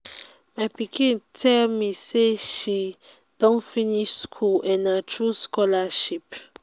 my pikin tell me say she don finish school and na through scholarship